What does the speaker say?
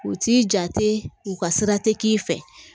U t'i jate u ka sira tɛ k'i fɛ